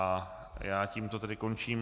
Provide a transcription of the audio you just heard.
A já tímto tedy končím...